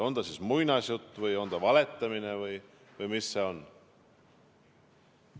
On see siis muinasjutt või on see valetamine või mis see on?